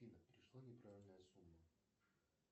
афина пришла неправильная сумма